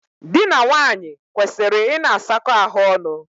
Dị na nwaanyị kwesịrị ịna asakọ ahụ ọnụ.